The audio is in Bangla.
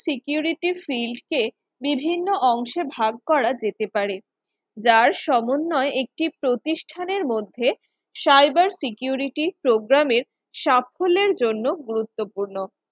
security silk এ বিভিন্ন অংশ ভাগ করা যেতে পারে, যার সমন্বয়ে একটি প্রতিষ্ঠানের মধ্যে cyber security program সাফল্যের জন্য গুরুত্বপূর্ণ